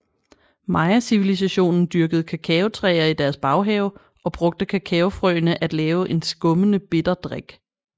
Mayacivilisationen dyrkede kakaotræer i deres baghave og brugte kakaofrøene at lave en skummende bitter drik